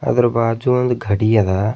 ಅದರ ಬಾಜು ಒಂದ್ ಘಡಿ ಅದ.